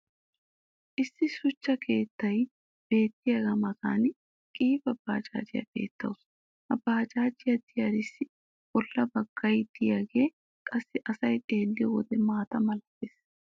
issi shuchcha keettay beetiyaaga matan qiiba baajaajjiya beetawusu. ha baajaajjiya diyaarissi bola bagay diyaage qassi asay xeelliyo wode maata malattees.